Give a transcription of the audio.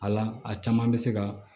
Ala a caman bɛ se ka